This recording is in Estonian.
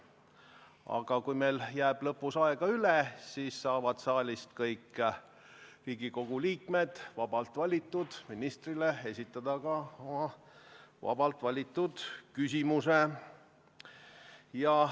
Aga kui meil jääb lõpus aega üle, siis saavad saalist kõik Riigikogu liikmed vabalt valitud ministrile esitada ka oma vabalt valitud küsimuse.